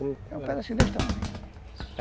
Era um pedacinho desse tamanho.